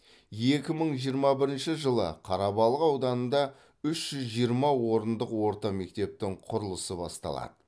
екі мың жиырма бірінші жылы қарабалық ауданында үш жүз жиырма орындық орта мектептің құрылысы басталады